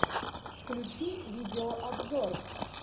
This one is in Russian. включи видео обзор